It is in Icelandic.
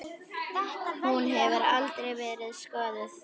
Hún hefur aldrei verið skoðuð.